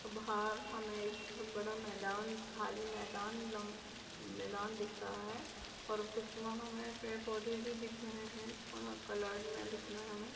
बाहर हमें एक बड़ा मैदान खाली मैदान मैदान दिख रहा है और कुछ वहाँ हमें पेड़-पौधे भी दिख रहे हैं थोड़ा कलर में दिख रहे हैं हमें।